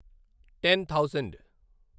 ten thousand